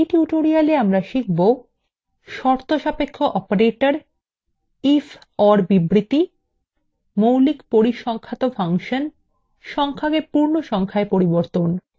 in tutorial আমরা শিখব